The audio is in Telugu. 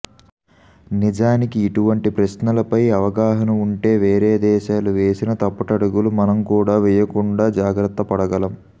నిజానికి ఇటువంటి ప్రశ్నలపై అవగాహన ఉంటే వేరే దేశాలు వేసిన తప్పటడుగులు మనం కూడా వేయకుండా జాగ్రత్తపడగలం